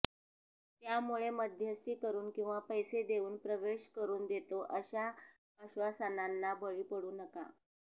त्यामुळे मध्यस्ती करून किंवा पैसे देऊन प्रवेश करून देतो अशा आश्वासनांना बळी पडू नका